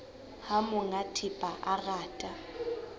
ha monga thepa a rata